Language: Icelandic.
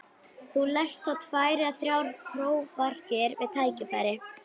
Þú lest þá tvær eða þrjár prófarkir við tækifæri.